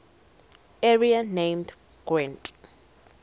area named gwent